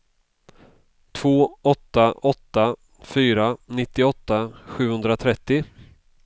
två åtta åtta fyra nittioåtta sjuhundratrettio